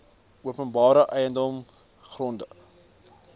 openbare eiendom grond